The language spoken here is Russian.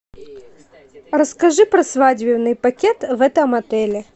расскажи про свадебный пакет в этом отеле